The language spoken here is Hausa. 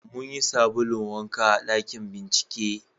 mun yi sabulun wanka a ɗakin bincike